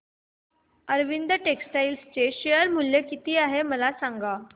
Arvind textile चे share मूल्य किती आहे मला सांगा